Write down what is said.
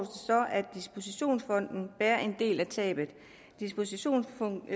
at dispositionsfonden bærer en del af tabet dispositionsfonden